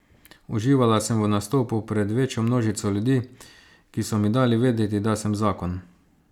Uživala sem v nastopu pred večjo množico ljudi, ki so mi dali vedeti, da sem zakon.